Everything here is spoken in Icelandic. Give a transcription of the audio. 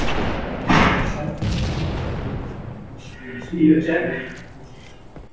Einn sendillinn segir okkur að hann skuli spyrjast fyrir á pósthúsinu